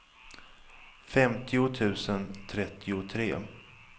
femtio tusen trettiotre